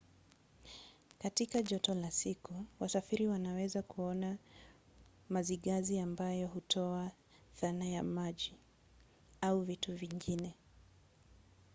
katika joto la siku wasafiri wanaweza kuona mazigazi ambayo hutoa dhana ya maji au vitu vingine